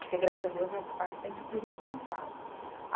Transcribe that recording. Porque, graças a Deus, nessa parte eu sempre fui responsável.